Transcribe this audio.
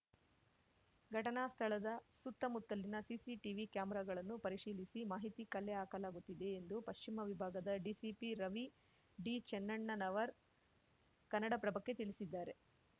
ಘಟನಾ ಸ್ಥಳದ ಸುತ್ತಮುತ್ತಲಿನ ಸಿಸಿಟಿವಿ ಕ್ಯಾಮೆರಾಗಳನ್ನು ಪರಿಶೀಲಿಸಿ ಮಾಹಿತಿ ಕಲೆ ಹಾಕಲಾಗುತ್ತಿದೆ ಎಂದು ಪಶ್ಚಿಮ ವಿಭಾಗದ ಡಿಸಿಪಿ ರವಿಡಿಚೆನ್ನಣ್ಣನವರ್‌ ಕನ್ನಡಪ್ರಭಕ್ಕೆ ತಿಳಿಸಿದ್ದಾರೆ